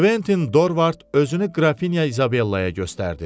Kventin Dorvard özünü qrafinya İzabellaya göstərdi.